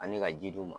Ani ka ji d'u ma